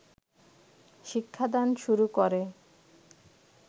শিক্ষাদান শুরু করে